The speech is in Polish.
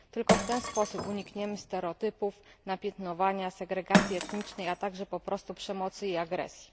Tylko w ten sposób unikniemy stereotypów, napiętnowania, segregacji etnicznej, a także po prostu przemocy i agresji.